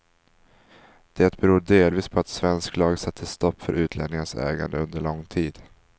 Det beror delvis på att svensk lag satte stopp för utlänningars ägande under lång tid.